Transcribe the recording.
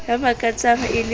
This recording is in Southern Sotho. ya makatsang e le ka